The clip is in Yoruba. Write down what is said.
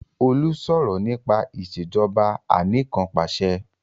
Olú sọ̀rọ̀ nípa Ìṣèjọba Anìkanpàṣẹ